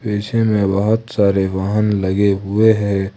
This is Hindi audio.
पीछे में बहुत सारे वाहन लगे हुए हैं।